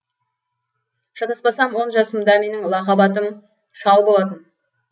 шатаспасам он жасымда менің лақап атым шал болатын